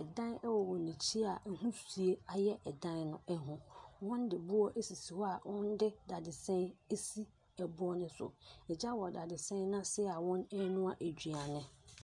Ɛdan ɛwɔ wɔn akyi a wisie ayɛ ɛdan no ho. Wɔnde boɔ esisi hɔ a wɔnde dadesɛn esi ɛboɔ no so. Agya wɔ dadesɛn n'ase a wɔn anua aduane.